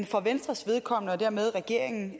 for venstres vedkommende og dermed regeringens